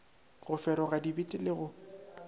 go feroga dibete le go